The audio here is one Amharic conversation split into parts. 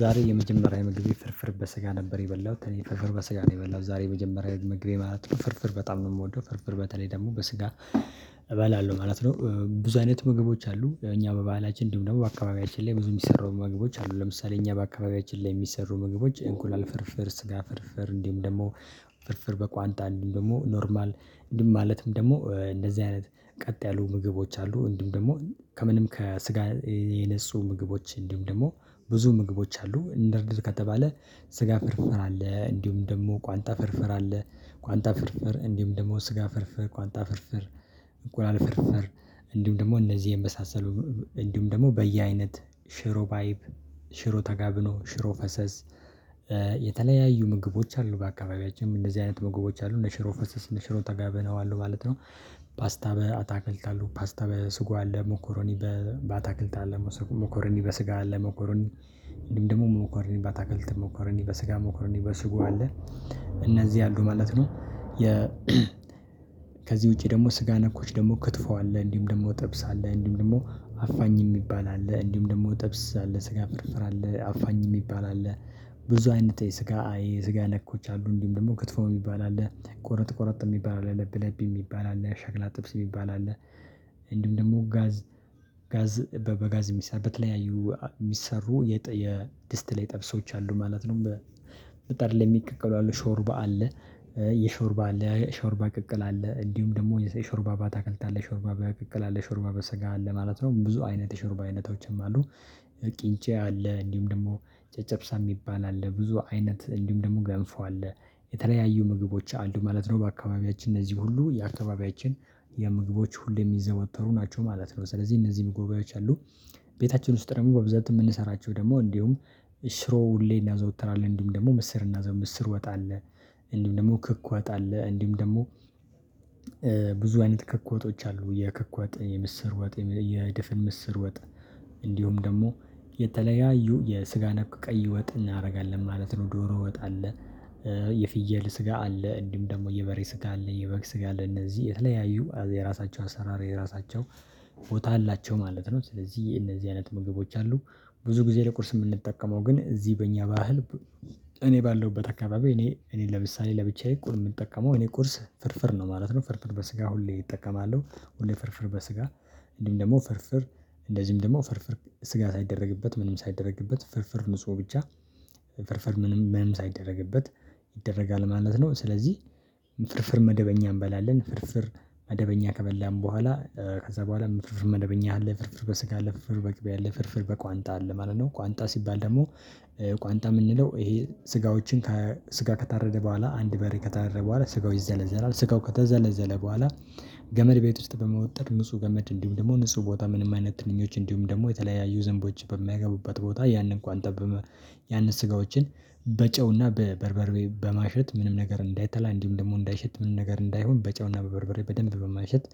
ዛሬ የመጀመሪያ ምግቤ ፍርፍር በስጋ ነበር የበላሁት እኔ ፍርፍር በስጋ ነው የበላሁት ዛሬ የመጀመሪያ ምግቤ ማለት ነው ፍርፍር በጣም ነው የምወደው ፍርፍር በተለይ ደግሞ በስጋ እበላለሁ ማለት ነው። ብዙ አይነት ምግቦች አሉ እኛ በባህላችን እንዲሁም ደግሞ በአካባቢያችን ላይ ብዙ የሚሰሩ ምግቦች አሉ። ለምሳሌ እኛ በአካባቢያችን ላይ የሚሰሩ ምግቦች እንቁላል ፍርፍር ስጋ ፍርፍር እንዲሁም ደግሞ ፍርፍር በቋንጣ እንዲሁም ደግሞ ኖርማል እንዲሁም ማለትም ደግሞ እንደዚህ አይነት ቀጥ ያሉ ምግቦች አሉ እንዲሁም ደግሞ ከምንም ከስጋ የነፁ ምግቦች እንዲሁም ደግሞ ብዙ ምግቦች አሉ። እንደርድር ከተባለ ስጋ ፍርፍር አለ እንዲሁም ደግሞ ቋንጣ ፍርፍር አለ። ቋንጣ ፍርፍር እንዲሁም ደግሞ ስጋ ፍርፍር ቋንጣ ፍርፍር እንቁላል ፍርፍር እንዲሁም ደግሞ እነዚህ የመሳሰሉ ነው። እንዲሁም ደግሞ በየአይነት ሽሮ ባይብ ሽሮ ተጋብኖ ሽሮ ፈሰስ የተለያዩ ምግቦች አሉ። በአካባቢያችን እንደዚህ አይነት ምግቦች አሉ እነ ሽሮ ፈሰስ እነ ሽሮ ተጋቢኖ ማለት ነው። ፓስታ በአታክልት አሉ ፓስታ በስጎ አለ ሞኮሮኒ በአታክልት አለ ሞኮሮኒ በስጋ አለ ሞኮሮኒ እንዲሁም ደግሞ ሞኮሮኒ በታክልት ሞኮረኒ በስጋ ሞኮረኒ በስጎ አለ። እነዚህ አሉ ማለት ነው። የ ከዚህ ውጪ ደግሞ ስጋ ነኮች ደግሞ ክትፎ አለ እንዲሁም ደግሞ ጥብስ አለ እንዲሁም ደግሞ አፋኝ የሚባል አለ እንዲሁም ደግሞ ጥብስ አለ ስጋ ፍርፍር አለ አፋኝ የሚባል አለ። ብዙ አይነት የስጋ የስጋ ነኮች አሉ እንዲሁም ደግሞ ክትፎ የሚባል አለ ቆረጥ ቁርጥ የሚባል አለ ለብ ለብ የሚባል አለ ሸክላ ጥብስ የሚባል አለ። ደግሞ ጋዝ ጋዝ በጋዝ የሚሰሩ በተለያዩ የሚሰሩ የድስት ላይ ጥብሶች አሉ ማለት ነው። በ ምጣድ ሚቀቀሉ አሉ ሾርባ አለ። የሾርባ አለ ሾርባ ቅቅል አለ እንዲሁም ደግሞ የሾርባ ባታከልት አለ ሾርባ በቅቅል አለ ሾርባ በስጋ አለ ማለት ነው ብዙ አይነት የሾርባ አይነቶችም አሉ። ቅንጬ አለ እንዲሁም ደግሞ ጨጨብሳ የሚባል አለ ብዙ አይነት እንዲሁም ደግሞ ገንፎ አለ። የተለያዩ ምግቦች አሉ ማለት ነው በአካባቢያችን እነዚህ ሁሉ የአካባቢያችን የምግቦች ሁሌም የሚዘወተሩ ናቸው ማለት ነው። ስለዚህ እነዚህም ምግቦዎች አሉ። ቤታችን ውስጥ ደግሞ በብዛት የምንሰራቸው ደግሞ እንዲሁም ሽሮ ሁሌ እናዘወትራለን እንዲሁም ደግሞ ምስር እና ምስር ወጥ አለ። እንዲሁም ደግሞ ክክ ወጥ አለ እንዲሁም ደግሞ ብዙ አይነት ክክ ወጦች አሉ። የክክ ወጥ የምስር ወጥ የድፍን ምስር ወጥ እንዲሁም ደግሞ የተለያዩ የስጋ ነክ ቀይ ወጥ እናደርጋለን ማለት ነው። ዶሮ ወጣ አለ። የፍየል ስጋ አለ እንዲሁም ደግሞ የበሬ ስጋ አለ የበግ ስጋ አለ እነዚህ የተለያዩ የራሳቸው አሰራር የራሳቸው ቦታ አላቸው ማለት ነው። ስለዚህ እነዚህ አይነት ምግቦች አሉ። ብዙ ጊዜ ለቁርስ የምንጠቀመው ግን እዚህ በእኛ ባህል እኔ ባለሁበት አካባቢ እኔ እኔ ለምሳሌ ለብቻዬ ቁር የምጠቀመው እኔ ቁርስ ፍርፍር ነው ማለት ነው። ፍርፍር በስጋ ሁሌ እጠቀማለሁ ሁሌ ፍርፍር በስጋ እንዲሁም ደግሞ ፍርፍር እንደዚህም ደግሞ ፍርፍር ስጋ ሳይደረግበት ምንም ሳይደረግበት ፍርፍር ንጹህ ብቻ ፍርፍር ምንም ምንም ሳይደረግበት ይደረጋል ማለት ነው። ስለዚህ ፍርፍር መደበኛ እንበላለን ፍርፍር መደበኛ ከበላን በኋላ ከዛ በኋላም ፍርፍር መደበኛ አለ ፍርፍር በስጋ አለ ፍርፍር በቅቤ አለ ፍርፍር በቋንጣ አለ ማለት ነው። ቋንጣ ሲባል ደግሞ የምንለው ይሄ ስጋዎችን ከስጋ ከታረደ በኋላ አንድ በሬ ከታረደ በኋላ ስጋው ይዘለዘላል ስጋው ከተዘለዘለ በኋላ ገመድ ቤት ውስጥ በመወጠር ንጹህ ገመድ እንዲሁም ደግሞ ንጹህ ቦታ ምንም አይነት ትንኞች እንዲሁም ደግሞ የተለያዩ ዝንቦች በማይገቡበት ቦታ ያንን እንኳን ጠብ ያንን ስጋዎችን በጨውና በበርበሬ በማሸት ምንም ነገር እንዳይተላ እንዲሁም ደግሞ እንዳይሸት ምንም ነገር እንዳይሆን በጨውና በበርበሬ በደንብ በማሸት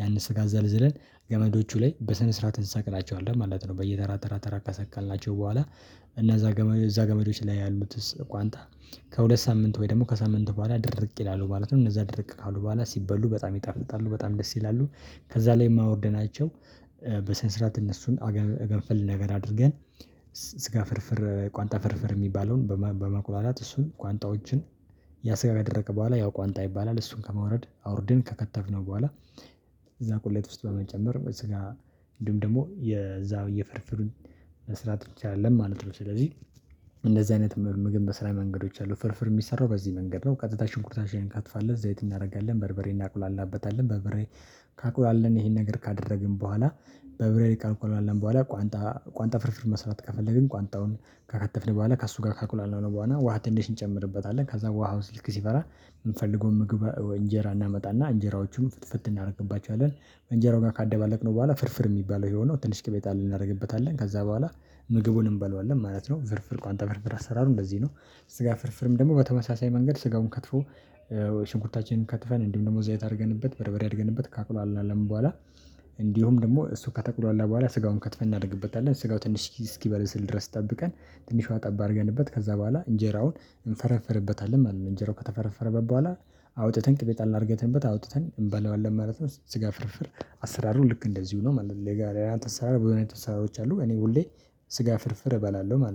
ያንን ስጋ ዘልዝለን ገመዶቹ ላይ በሰነ ስርዓት እንሰቅላቸዋለን ማለት ነው። በየተራ ተራ ተራ ከሰቀልናቸው በኋላ እና እዛ እዛ ገመዶች ላይ ያሉትስ ቋንጣ ከሁለት ሳምንት ወይ ደግሞ ከሳምንት በኋላ ድርቅ ይላሉ ማለት ነው። እነዛ ድርቅ ካሉ በኋላ ሲበሉ በጣም ይጣፍጥጣሉ በጣም ደስ ይላሉ። ከዛ ላይም አውርደናቸው በሰነ ስርዓት እነሱን ገንፈል ነገር አድርገን ስጋ ፍርፍር ቋንጣ ፍርፍር የሚባለውን በመቁላላት እሱን ቋንጣዎችን ያደረቀ በኋላ ያ ቋንጣ ይባላል እሱን ከመውረድ አውርደን ከከተፍነው በኋላ እዛ ቁሌት ውስጥ በመጨመር በስጋ እንዲሁም ደግሞ የዛ የፍርፍሩን መስራት እንችላለን ማለት ነው። ስለዚህ አይነት ምግብ መስሪያ መንገዶች አሉ ፍርፍር የሚሰራው በዚህ መንገድ ነው። ቀጥታ ሽንኩርታችን እንከትፋለን ዘይት እናደርጋለን በርበሬ እናቁላላበታለን በበሬ ካቁላላን ይሄን ነገር ካደረግን በኋላ በብሬ ካቆላላን በኋላ ቋንጣ ቋንጣ ፍርፍር መስራት ከፈለግን ቋንጣውን ከከተፍን በኋላ ከእሱ ጋር ካቁላላነው በኋላ ውሃ ትንሽ እንጨምርበታለን ከዛ ውሃው ስልክ ሲፈላ የምንፈልገውን ምግብ እንጀራ እናመጣና እንጀራዎቹን ፍትፍት እናደርግባቸዋለን እንጀራው ጋር ካደባለቅነው በኋላ ፍርፍር የሚባለው ይሄው ነው ትንሽ ቅቤ ጣል እናደርግበታለን ከዛ በኋላ ምግቡን እንበለዋለን ማለት ነው። ፍርፍር ቋንቋ ፍርፍር አሰራሩ እንደዚህ ነው። ስጋ ፍርፍርም ደግሞ በተመሳሳይ መንገድ ስጋውን ከትፎ ሽንኩርታችንን ከትፈን እንዲሁም ደግሞ ዘየት አድርገንበት በርበሬ አድርገንበት ካቁላላነም በኋላ እንዲሁም ደግሞ እሱ ከተቁላላ በኋላ ስጋውን ከትፈን እናደርግበታለን ስጋው ትንሽ እስኪበለስል ድረስ ጠብቀን ትንሿ ውሃ ጠብ አርገንበት ከዛ በኋላ እንጀራውን እንፈረፍርበታለን ማለት ነው። እንጀራው ከተፈረፈረበት በኋላ አውጥተን ቅቤ ጣል አርግተንበት አውጥተን እንበላዋለን ነው ስጋ ፍርፍር አሰራሩ ልክ እንደዚሁ ነው ማለት ነው። የጋራ የአንተ አሰራር ብዙ አይነት አሰራሮች አሉ እኔ ሁሌ ስጋ ፍርፍር እበላለሁ ማለት